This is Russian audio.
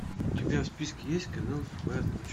у тебя в списке есть когда наступает ночь